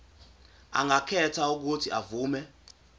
angakhetha uuthi avume